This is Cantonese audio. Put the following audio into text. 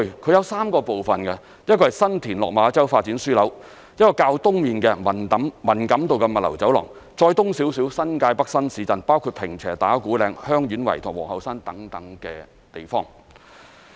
這有3個部分，一個是新田/落馬洲發展樞紐、一個是較東面的文錦渡物流走廊，以及再往東面的新界北新市鎮，包括坪輋、打鼓嶺、香園圍和皇后山等地方。